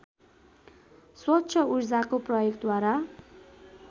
स्वच्छ ऊर्जाको प्रयोगद्वारा